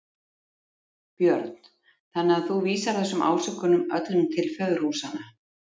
Björn: Þannig að þú vísar þessum ásökunum öllum til föðurhúsanna?